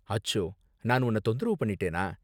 அச்சோ! நான் உன்ன தொந்தரவு பண்ணிட்டேனா?